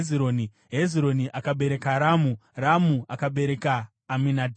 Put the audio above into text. Hezironi akabereka Ramu, Ramu akabereka Aminadhabhi,